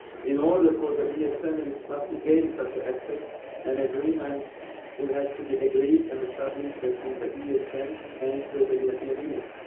In order for the ESM and its staff to gain such an access an agreement would have to be agreed and established between the ESM and the European Union.